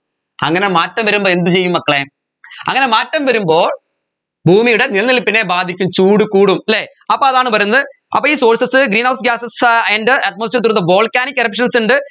അങ്ങനെ മാറ്റം വരുമ്പോ എന്ത് ചെയ്യും മക്കളെ അങ്ങനെ മാറ്റം വരുമ്പോൾ ഭൂമിയുടെ നിലനിൽപ്പിനെ ബാധിക്കും ചൂട് കൂടും അല്ലെ അപ്പോ അതാണ് പറയുന്നത് അപ്പൊ ഈ sources greenhouse gases air and atmosphere through the volcanic erruptions ഉണ്ട്